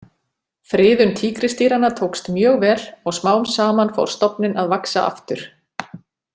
Friðun tígrisdýranna tókst mjög vel og smám saman fór stofninn að vaxa aftur.